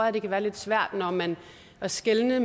at det kan være lidt svært at skelne